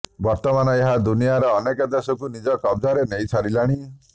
ବର୍ତ୍ତମାନ ଏହା ଦୁନିଆର ଅନେକ ଦେଶକୁ ନିଜ କବଜାରେ ନେଇ ସାରିଲାଣି